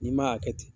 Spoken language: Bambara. N'i ma hakɛ to